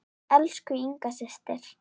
Elsku Inga systir.